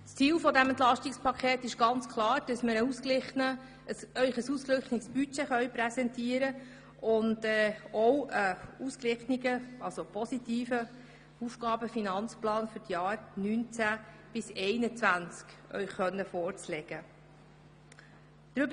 Das Ziel dieses Entlastungspakets besteht ganz klar darin, dass wir Ihnen ein ausgeglichenes Budget 2018 und einen positiven Aufgaben-/Finanzplan für die Jahre 2019 bis 2021 vorlegen können.